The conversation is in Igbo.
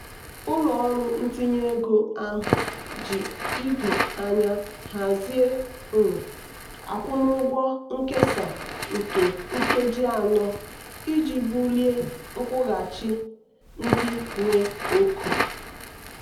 ụlọ ọrụ ntinye ego ahụ ji ido anya hazie um akwụmụgwọ nkesa nke nkeji anọ iji bulie nkwụghachi ndị nwe oke.